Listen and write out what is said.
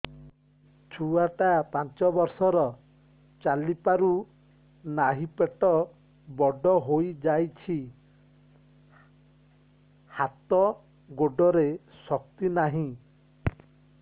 ଛୁଆଟା ପାଞ୍ଚ ବର୍ଷର ଚାଲି ପାରୁ ନାହି ପେଟ ବଡ଼ ହୋଇ ଯାଇଛି ହାତ ଗୋଡ଼ରେ ଶକ୍ତି ନାହିଁ